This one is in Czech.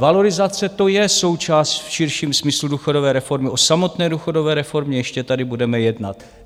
Valorizace, to je součást v širším smyslu důchodové reformy, o samotné důchodové reformě ještě tady budeme jednat.